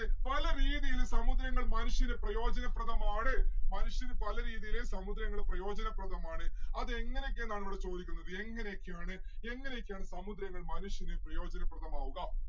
പല രീതിയില് സമുദ്രങ്ങൾ മനുഷ്യന് പ്രയോജനപ്രദമാണ് മനുഷ്യന് പല രീതിയില് സമുദ്രങ്ങൾ പ്രയോജനപ്രദമാണ്. അതെങ്ങാനൊക്കെ എന്നാണ് ഇവിടെ ചോദിക്കുന്നത് എങ്ങനെക്കെയാണ് എങ്ങനെയൊക്കെയാണ് സമുദ്രങ്ങള് മനുഷ്യന് പ്രയോജനപ്രദമാവുക?